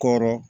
Kɔrɔ